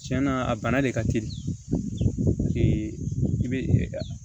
Tiɲɛna a bana de ka teli i bɛ